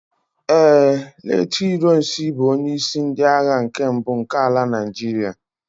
ee, late ironsi bu onye isi ndi agha nke mbu nke ala Naijiria